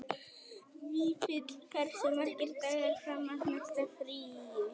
Vífill, hversu margir dagar fram að næsta fríi?